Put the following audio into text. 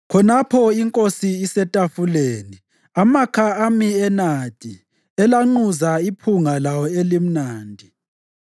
Khonapho inkosi isetafuleni amakha ami enadi alanquza iphunga lawo elimnandi.